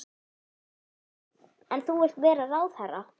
Sindri: En þú vilt vera ráðherra?